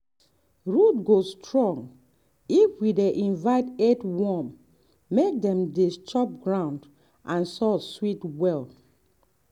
root go strong if we dey invite earthworm make dem dey chop ground and soil sweet well.